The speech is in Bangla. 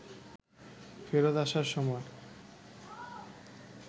ফেরত আসার সময়